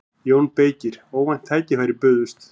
JÓN BEYKIR: Óvænt tækifæri bauðst.